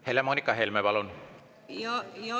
Helle-Moonika Helme, palun!